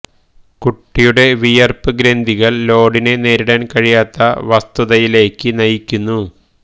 കുട്ടിയുടെ വിയർപ്പ് ഗ്രന്ഥികൾ ലോഡിനെ നേരിടാൻ കഴിയാത്ത വസ്തുതയിലേക്ക് നയിക്കുന്നു